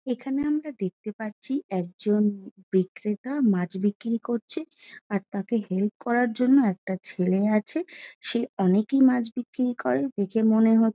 এখানে আমরা দেখতে পাচ্ছি একজন বিক্রেতা মাছ বিক্রি করছে আর তাকে হেল্প করার জন্য একটা ছেলে আছে সে অনেকই মাছ বিক্রি করে দেখে মনে হ--